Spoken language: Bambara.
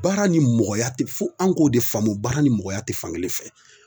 Baara ni mɔgɔya tɛ fo an k'o de faamu baara ni mɔgɔya tɛ fan kelen fɛ